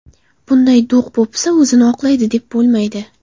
Bunday do‘q-po‘pisa o‘zini oqlaydi deb bo‘lmaydi.